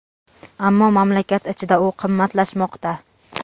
ammo mamlakat ichida u qimmatlashmoqda.